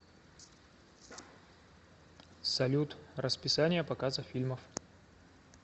салют расписание показа фильмов